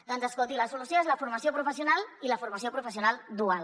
doncs escolti la solució és la formació professional i la formació professional dual